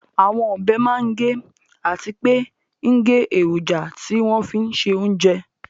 Àwọn ọbẹ̀ máa ń gé àti pé ń gé èròjà tí wọ́n fín se oúnjẹ